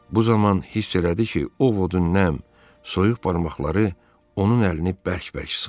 Bu zaman hiss elədi ki, Ovodun nəm, soyuq barmaqları onun əlini bərk-bərk sıxır.